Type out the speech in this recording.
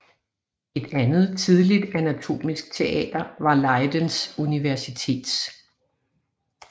Et andet tidligt anatomisk teater var Leidens Universitets